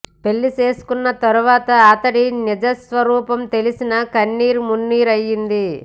పెళ్లి చేసుకున్న తర్వాత అతడి నిజ స్వరూపం తెలిసి కన్నీరు మున్నీరు అయ్యింది